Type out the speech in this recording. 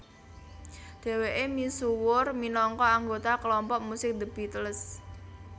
Dhèwèké misuwur minangka anggota kelompok musik The Beatles